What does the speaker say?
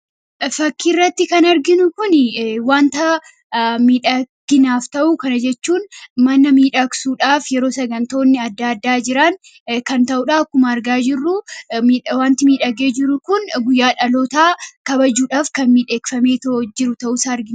Fakkii irratti kan arginu kuni wanta midhaginaaf ta'u. Kana jechuun mana miidhaksuudhaaf, yeroo sagantooleen adda addaa jiran kan ta'udha. Akkuma argaa jirru wanti miidhagee jirun kun guyyaa dhalootaa kabajuudhaaf kan miidhagfamee jiru ta'uu isaa argina.